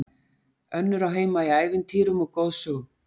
Önnur á heima í ævintýrum og goðsögum.